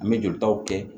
An bɛ jolitaw kɛ